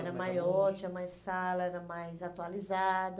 Era maior, tinha mais sala, era mais atualizada.